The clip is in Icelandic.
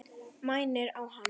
Mænir á hann.